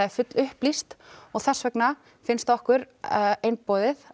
er fullupplýst þess vegna finnst okkur einboðið